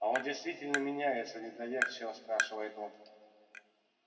а он действительно меняется недоверчиво спрашивает он